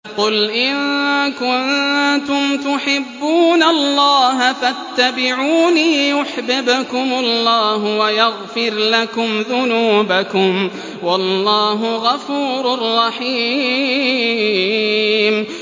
قُلْ إِن كُنتُمْ تُحِبُّونَ اللَّهَ فَاتَّبِعُونِي يُحْبِبْكُمُ اللَّهُ وَيَغْفِرْ لَكُمْ ذُنُوبَكُمْ ۗ وَاللَّهُ غَفُورٌ رَّحِيمٌ